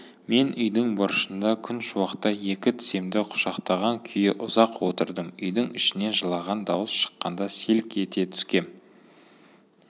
мен үйдің бұрышында күн шуақта екі тіземді құшақтаған күйі ұзақ отырдым үйдің ішінен жылаған дауыс шыққанда селк ете түскем